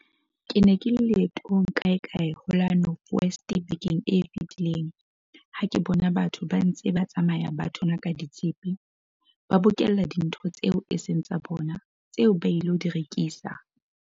Ke ne ke le leetong kaekae ho la North West bekeng e fetileng ha ke bona batho ba ntse ba tsamaya ba thonaka ditshepe - ba bokella dintho tseo e seng tsa bona, tseo ba ilo di rekisa.